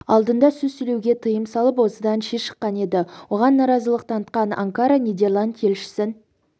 алдында сөз сөйлеуге тыйым салып осыдан ши шыққан еді оған наразылық танытқан анкара нидерланд елшісін